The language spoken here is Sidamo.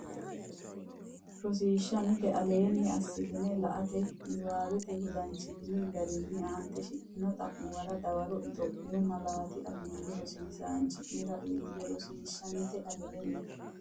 Rosiishsha Mite Aleenni assitini la”ate niwaawenni wodanchitini garinni aante shiqqino xa’muwara dawaro Itophiyu malaatu afiinni rosiisaanchi’nera uuyye Rosiishsha Mite Aleenni.